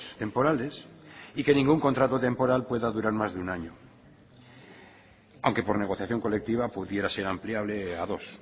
temporales y que ningún contrato temporal pueda durar más de un año aunque por negociación colectiva pudiera ser ampliable a dos